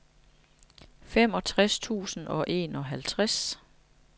femogtres tusind og enoghalvtreds